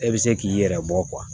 E bɛ se k'i yɛrɛ bɔ